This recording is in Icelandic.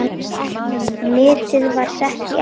Metið var sett í apríl.